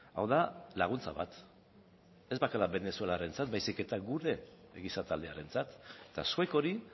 hau da laguntza bat ez bakarrik venezuelarentzat baizik eta gure giza taldearentzat eta zuek hori